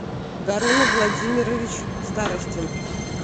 гарун владимирович старостин